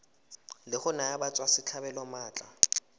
la go naya batswasetlhabelo maatla